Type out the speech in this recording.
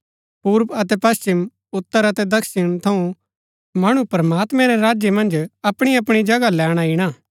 पूर्व अतै पश्‍चिम उत्तर अतै दक्षिण थऊँ मणु प्रमात्मैं रै राज्य मन्ज अपणीअपणी जगहा लैणा ईणा